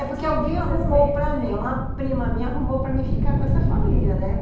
É, porque alguém arrumou para mim, uma prima minha arrumou para mim ficar com essa família, né?